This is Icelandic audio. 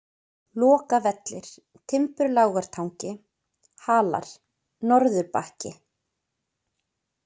Lokavellir, Timburlágartangi, Halar, Norðurbakki